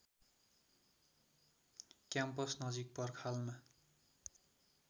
campus नजिक पर्खालमा